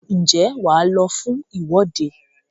ǹjẹ́ wà á lọ fún ìwọ́de?